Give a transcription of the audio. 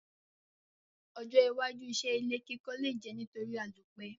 Ojó iwájú isé ilé kíkọ́ le je nítorí àlòpẹ́